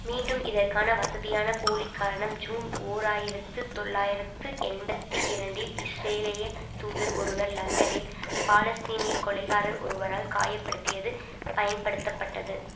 மீண்டும் இதற்கான வசதியான போலிக்காரணம் ஜூன் ஓர் ஆயிரத்து தொள்ளாயிரத்து எண்பத்தி இரண்டில் இஸ்ரேலிய தூதர் ஒருவர் லண்டனில் பாலஸ்தீனிய கொலைகாரர் ஒருவரால் காய படுத்தியது பயன்படுத்தப்பட்டது